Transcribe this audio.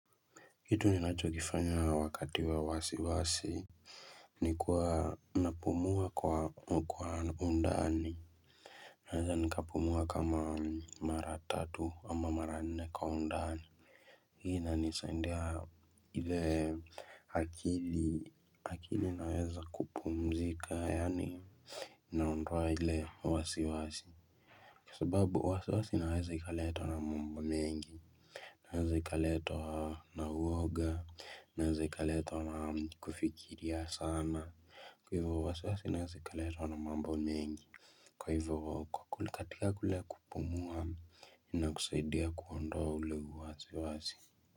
Kitu ninachokifanya wakati wa wasiwasi Nikuwa napumua kwa hukuwa undani Naweza nikapumua kama mara tatu ama mara nne kwa undani Hi inanisaindia ile akili akili naweza kupumzika yaani Naondoa ile wasiwasi Kwa sababu wasiwasi inaweza ikaletwa na mambo mengi inaeza ika letwa na uoga inaeza ikaletwa na kufikiria sana Kwa hivyo wasiwasi inaeza ikaletwa na mambo mengi Kwa hivyo kwa kulikatika kule kupumua ina kusaidia kuondoa ule wazi wazi.